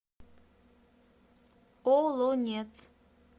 олонец